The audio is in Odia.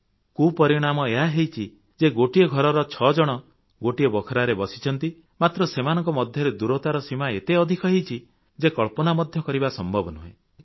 ଏହାର କୁପରିଣାମ ହେଉଛି ଯେ ଘରେ ଛ ଜଣ ଗୋଟିଏ ବଖରାରେ ବସିଛନ୍ତି ମାତ୍ର ସେମାନଙ୍କ ମଧ୍ୟରେ ଦୂରତାର ସୀମା ଏତେ ଅଧିକ ହୋଇଛି ଯେ କଳ୍ପନା ମଧ୍ୟ କରିବା ସମ୍ଭବ ନୁହେଁ